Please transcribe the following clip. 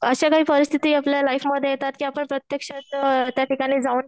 अश्या काही परिस्थिती आपल्या लाईफमध्ये येतात की आपण प्रत्येक्षात त्याठिकाणी जाऊन